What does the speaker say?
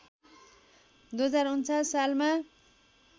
२०४९ सालमा